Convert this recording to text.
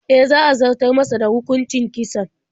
E, za a zartar masa da hukuncin kisan.